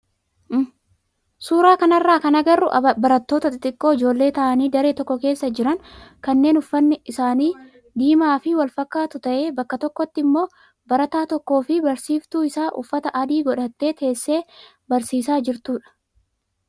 suuraa kanarraa kan agarru barattoota xixiqqoo ijoollee ta'anii daree tokko keessa jiran kanneen uffanni isaanii diimaa fi wal fakkaatu ta'ee, bakka tokkotti immoo barataa tokkoo fi barsiiftuu isaa uffata adii godhattee teessee barsiisaa jirtudha.